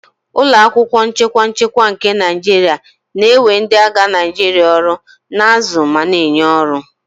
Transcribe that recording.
Ụlọ akwụkwọ nchekwa nchekwa nke Naijiria na-ewe ndị agha Naijiria ọrụ, na-azụ ma na-enye ọrụ